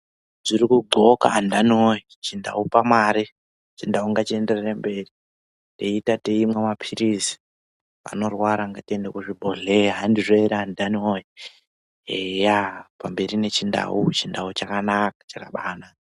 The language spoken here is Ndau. Zvirikudhloka andani voye muchindau pamare chindau ngachienderere mberi. Tiita teimwa maphirizi anorwara ngatiende kuzvibhrdhleya handizvo ere andani voye, eya pamberi nechindau chindau chakanaka chakabanaka.